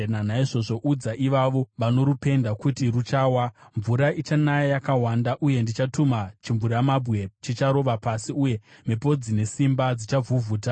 Naizvozvo udza ivavo vanorupenda kuti ruchawa. Mvura ichanaya yakawanda, uye ndichatuma chimvuramabwe chicharova pasi, uye mhepo dzine simba dzichavhuvhuta.